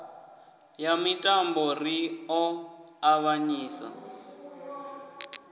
ya mitambo ri ḓo ṱavhanyisa